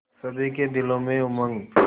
सभी के दिलों में उमंग